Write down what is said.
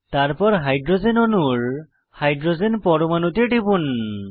তারপর হাইড্রোজেন অণুর হাইড্রোজেন পরমাণুতে টিপুন